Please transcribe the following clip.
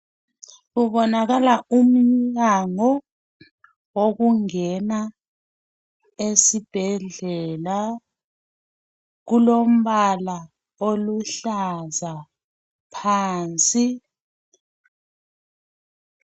Kubonakala umnyango wokungena esibhedlela. Kulombala oluhlaza phansi.